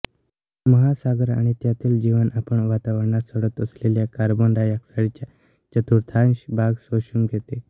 महासागर आणि त्यातील जीवन आपण वातावरणात सोडत असलेल्या कार्बन डाय ऑक्साईडच्या चतुर्थांश भाग शोषून घेते